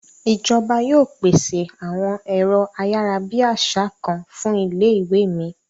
Ìjọba yóò pèsè àwọn èrọ ayárabíàṣá kan fún ilé ìwé mi.